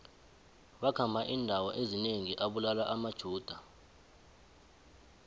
wakhamba indawo ezinengi abulala amajuda